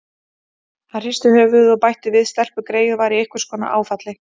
Hann hristi höfuðið og bætti við: Stelpugreyið var í einhvers konar áfalli.